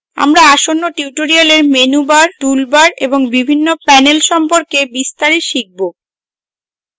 আমরা আসন্ন tutorials menu bars toolbars এবং বিভিন্ন panels সম্পর্কে বিস্তারে শিখব